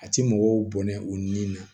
A ti mɔgɔw bɔnɛ u ni na